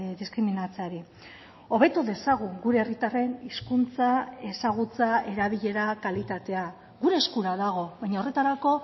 diskriminatzeari hobetu dezagun gure herritarren hizkuntza ezagutza erabilera kalitatea gure eskura dago baina horretarako